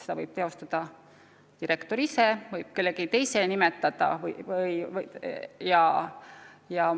Seda võib teha direktor ise, aga ta võib selle õiguse anda ka kellelegi teisele.